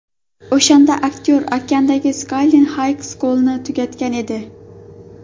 O‘shanda aktyor Oklenddagi Skyline High School’ni tugatgan edi.